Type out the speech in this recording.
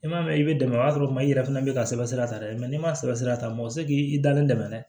I m'a mɛn i bɛ dɛmɛ o y'a sɔrɔ kuma i yɛrɛ fana bɛ ka sɛbɛ ta dɛ n'i ma sɛbɛ sira ta mɔgɔ tɛ se k'i dalen dɛmɛ dɛ